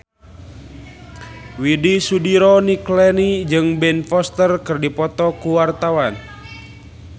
Widy Soediro Nichlany jeung Ben Foster keur dipoto ku wartawan